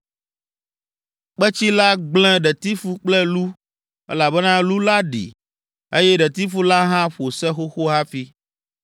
(Kpetsi la gblẽ ɖetifu kple lu o, elabena lu la ɖi, eye ɖetifu la hã ƒo se xoxo hafi,